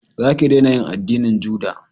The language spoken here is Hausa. Za ki dena yin addinin juda